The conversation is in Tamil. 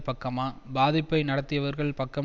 பக்கமா பாதிப்பை நடத்தியவர்கள் பக்கம்